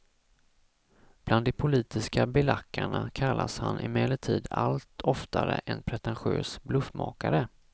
Bland de politiska belackarna kallas han emellertid allt oftare en pretentiös bluffmakare.